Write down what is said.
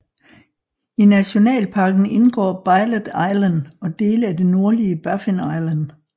I nationalparken indgår Bylot Island og dele af det nordlige Baffin Island